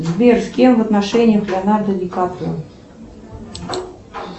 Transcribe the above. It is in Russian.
сбер с кем в отношениях леонардо ди каприо